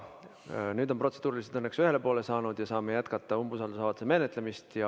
Nüüd on protseduurilised küsimused õnneks ühele poole saanud ja me saame jätkata umbusaldusavalduse menetlemist.